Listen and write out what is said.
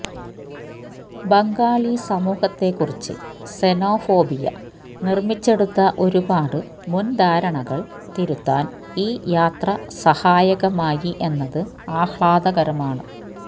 ബംഗാളി സമൂഹത്തെക്കുറിച്ച് സെനോഫോബിയ നിര്മിച്ചെടുത്ത ഒരുപാട് മുന്ധാരണകള് തിരുത്താന് ഈ യാത്ര സഹായകമായി എന്നത് ആഹ്ലാദകരമാണ്